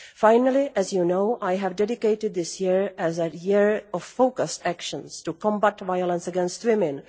Finally, as you know, I have dedicated this year as a year of focused actions to combat violence against women.